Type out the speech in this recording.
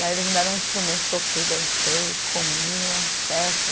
Daí eles me deram um instrumento, toquei, dancei, comi, uma festa.